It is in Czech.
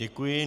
Děkuji.